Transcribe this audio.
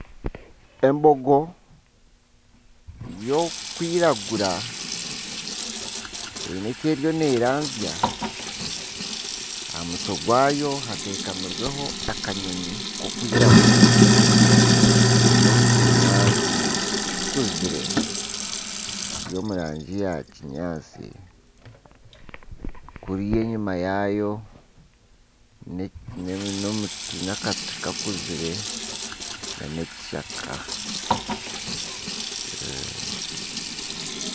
Embogo y'okwiragura eine eki eriyo neerazya aha mutwe gwayo hateekamirweho akanyonyi k'okwiragura eri omu kinyaatsi kikuzire kiri omu rangi ya kinyaatsi kuriya enyuma yaayo n'akati kakuzire na n'ekishaka.